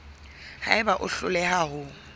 ha eba o hloleha ho